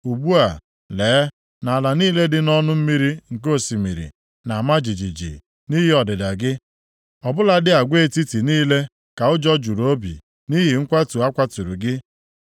Ugbu a, lee na ala niile dị nʼọnụ mmiri nke osimiri na-ama jijiji nʼihi ọdịda gị. Ọ bụladị agwa etiti niile ka ụjọ juru obi nʼihi nkwatu a kwatụrụ gị.’